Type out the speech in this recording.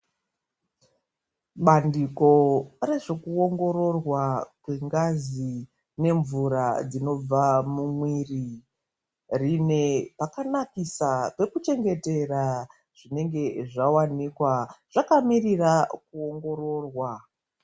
Bandiko rezvekuongororwa kwengazi nemvura dzinobva mumuiri, rine pakanakisa pekuchengetera zvinenge zvawanikwa zvakamirira kuongororwa.